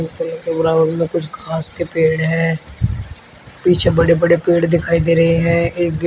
ground में कुछ घास के पेड़ हैं पीछे बड़े बड़े पेड़ दिखाई दे रहे हैं एक गेट --